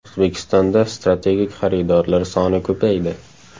O‘zbekistonda strategik xaridorlar soni ko‘paydi.